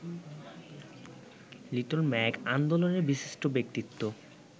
little mag আন্দোলনের বিশিষ্ট ব্যক্তিত্ব